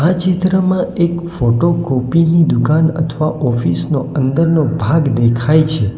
ચિત્રમાં એક photo copy ની દુકાન અથવા ઓફિસ નો અંદરનો ભાગ દેખાય છે.